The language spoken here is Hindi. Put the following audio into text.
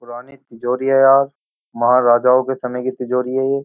पुराने तिजोरी है यार महाराजाओं के समय की तिजोरी है ये।